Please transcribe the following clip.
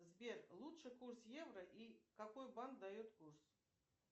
сбер лучший курс евро и какой банк дает курс